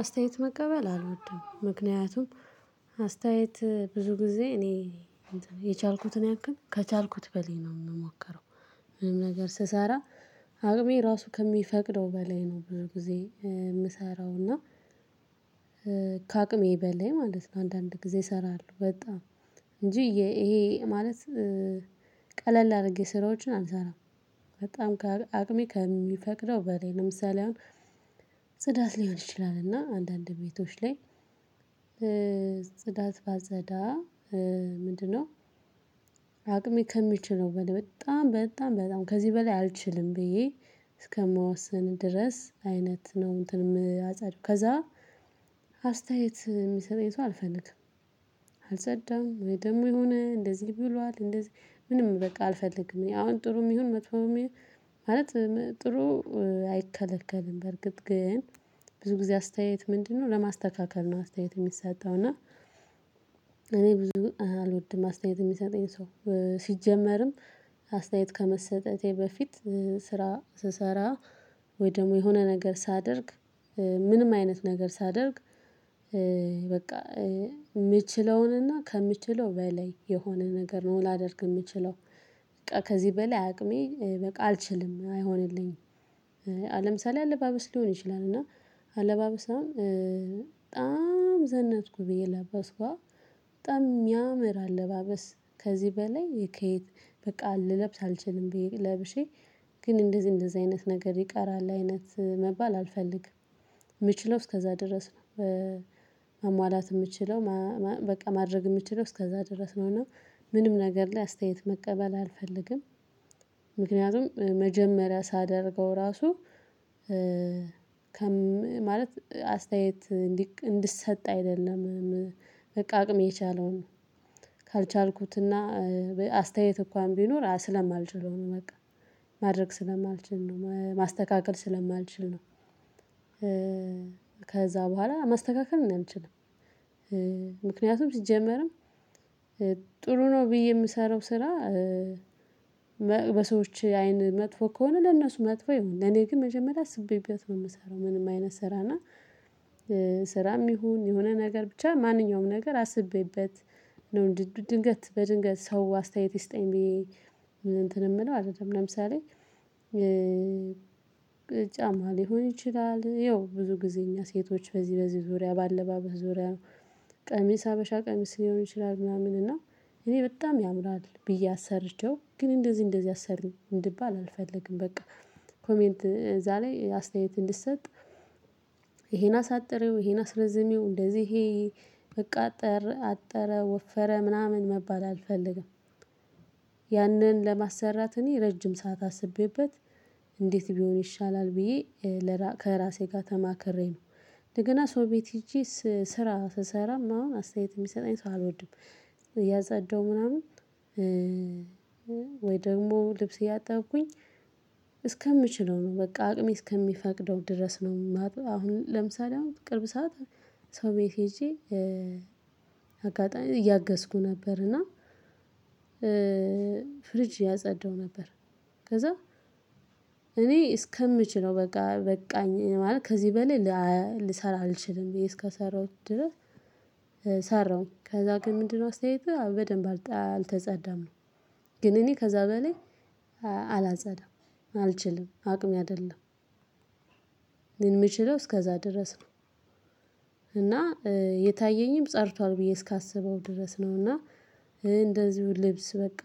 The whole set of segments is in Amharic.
አስተያየት መቀበል አልወድም ምክንያቱም አስተያየት ብዙ ጊዜ እኔ የቻልኩትን ያክል ከቻልኩት በላይ ነው የምሞከረው። ምንም ነገር ስሰራ አቅሜ ራሱ ከሚፈቅደው በላይ ነው ብዙ ጊዜ የምሰራው እና ከአቅሜ በላይ ማለት ነው። አንዳንድ ጊዜ እሰራለሁ በጣም እንጂ ይሄ ማለት ቀለል አድርጌ ስራዎችን አልሰራም። በጣም አቅሜ ከሚፈቅደው በላይ ለምሳሌ አሁን ጽዳት ሊሆን ይችላል እና አንዳንድ ቤቶች ላይ ጽዳት ባጸዳ። ምንድነው? አቅሜ ከሚችለው በላይ በጣም በጣም በጣም ከዚህ በላይ አልችልም ብዬ እስከምወስን ድረስ አይነት ነው። እንትን የማጸዳው ከዛ አስተያየት የሚሰጠኝ ሰው አልፈልግም። አልጸዳም ወይ ደግሞ የሆነ እንደዚህ ብሏል እንደዚህ ምንም በቃ አልፈልግም አሁን ጥሩም ይሁን መጥፎም ይሁን ማለት ጥሩ አይከለከልም። በርግጥ ግን ብዙ ጊዜ አስተያየት ምንድነው? ለማስተካከል ነው አስተያየት የሚሰጠው እና እኔ ብዙ አልወድም። አስተያየት የሚሰጠኝ ሰው ሲጀመርም አስተያየት ከመሰጠቴ በፊት ስራ ስሰራ ወይ ደግሞ የሆነ ነገር ሳደርግ ምንም አይነት ነገር ሳደርግ በቃ። የምችለውንና ከምችለው በላይ የሆነ ነገር ነው ላደርግ የምችለው በቃ ከዚህ በላይ አቅሜ በቃ አልችልም አይሆንልኝም። ለምሳሌ አለባበስ ሊሆን ይችላል እና አለባበስ አሁን በጣም ዘነጭኩ ብዬ ለበስኩዋ በጣም የሚያምር አለባበስ ከዚህ በላይ ከየት በቃ ልለብስ አልችልም ብዬ ለብሼ። ግን እንደዚህ እንደዚህ አይነት ነገር ይቀራል አይነት መባል አልፈልግም የምችለው እስከዛ ድረስ ነው። ማሟላት የምችለው በቃ ማድረግ የምችለው እስከዛ ድረስ ነው እና ምንም ነገር ላይ አስተያየት መቀበል አልፈልግም። ምክንያቱም መጀመሪያ ሳደርገው ራሱ ከም ማለት አስተያየት እንዲሰጥ አይደለም። በቃ አቅሜ የቻለውን ካልቻልኩትና አስተያየት እንኳን ቢኖር ስለማልችለው ነው በቃ ማድረግ ስለማልችል ነው ማስተካከል ስለማልችል ነው። ከዛ በኋላ ማስተካከል እኔ አልችልም። ምክኛቱም ሲጀመርም ጥሩ ነው ብዬ የምሰራው ስራ። በሰዎች አይን መጥፎ ከሆነ ለነሱ መጥፎ ይሁን ለኔ ግን መጀመሪያ አስቤበት ነው የምሰራው ምንም አይነት ስራና። ስራም ይሁን የሆነ ነገር ብቻ ማንኛውም ነገር አስቤበት ነው ድንገት በድንገት ሰው አስተያየት ይስጠኝ ብዬ እንትን የምለው አይደለም ለምሳሌ። ጫማ ሊሆን ይችላል ያው ብዙ ጊዜ እኛ ሴቶች በዚህ በዚህ ዙሪያ ባለባበስ ዙሪያ ነው። ቀሚስ ሀበሻ ቀሚስ ሊሆን ይችላል ምናምን እና እኔ በጣም ያምራል ብዬ አሰርቼው ግን እንደዚህ እንደዚህ አሰሪው እንድባል አልፈልግም በቃ። ኮሜንት እዛ ላይ አስተያየት እንድትሰጥ ይሄን አሳጥሪው ይሄን አስረዝሚው እንደዚህ ይሄ አጠረ አጠረ ወፈረ ምናምን መባል አልፈልግም። ያንን ለማሰራት እኔ ረጅም ሰዓት አስቤበት እንዴት ቢሆን ይሻላል ብዬ ከራሴ ጋር ተማክሬ ነው። እንደገና ሰው ቤት ሄጄ ስራ ስሰራም አሁን አስተያየት የሚሰጠኝ ሰው አልወድም እያጸዳሁ ምናምን። ወይ ደግሞ ልብስ እያጠብኩኝ እስከምችለው ነው በቃ አቅሜ እስከሚፈቅደው ድረስ ነው የማጥበው። አሁን ለምሳሌ አሁን ቅርብ ሰዓት ሰው ቤት ሄጄ አጋጣሚ እያገዝኩ ነበር እና። ፍሪጅ እያጸዳሁ ነበር። ከዛ እኔ እስከምችለው በቃ በቃኝ ማለት ከዚህ በላይ ልሰራ አልችልም ብዬ እስከሰራሁት ድረስ። ሰራሁኝ ከዛ ግን ምንድነው? አስተያየቱ በደንብ አልተጸዳም ነው። ግን እኔ ከዛ በላይ አላጸዳም አልችልም አቅሜ አይደለም። የሚችለው እስከዛ ድረስ ነው። እና የታየኝም ጸድቷል ብዬ እስካስበው ድረስ ነው እና። እንደዚሁ ልብስ በቃ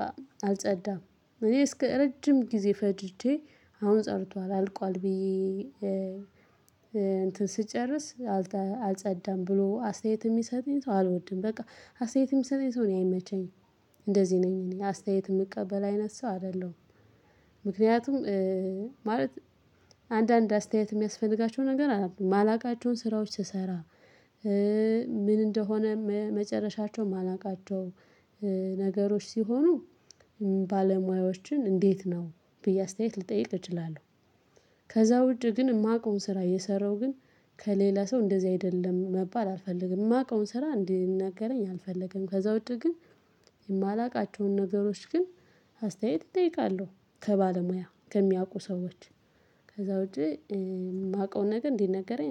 አልጸዳም እኔ እስከ ረጅም ጊዜ ፈጅጄ አሁን ጸድቷል አልቋል ብዬ። እንትን ስጨርስ አልጸዳም ብሎ አስተያየት የሚሰጠኝ ሰው አልወድም በቃ አስተያየትም የሚሰጠኝ ሰው እኔ አይመችኝም። እንደዚህ ነኝ እኔ አስተያየት የምቀበል አይነት ሰው አይደለሁም። ምክንያቱም። ማለት አንዳንድ አስተያየት የሚያስፈልጋቸው ነገር አሉ የማላውቃቸውን ስራዎች ስሰራ። ምን እንደሆነ መጨረሻቸው የማላውቃቸው ነገሮች ሲሆኑ ባለሙያዎችን እንዴት ነው ብዬ አስተያየት ልጠይቅ እችላለሁ። ከዛ ውጪ ግን የማውቀውን ስራ እየሰራሁ ግን ከሌላ ሰው እንደዚህ አይደለም መባል አልፈልግም። የማውቀውን ስራ እንዲናገረኝ አልፈለገም ከዛ ውጪ ግን የማላውቃቸውን ነገሮች ግን አስተያየት እጠይቃለሁ። ከባለሙያ ከሚያውቁ ሰዎች ከዛ ውጪ የማውቀውን ነገር እንዲነገረኝ